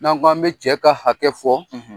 N'an k'an bi cɛ ka hakɛ fɔ